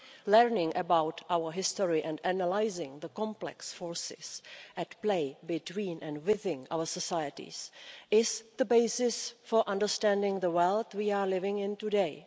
Learning about our history and analysing the complex forces at play between and within our societies is the basis for understanding the world we are living in today.